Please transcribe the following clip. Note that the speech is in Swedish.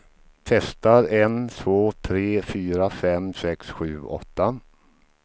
Testar en två tre fyra fem sex sju åtta.